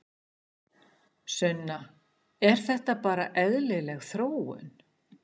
Sunna: Er þetta bara eðlileg þróun?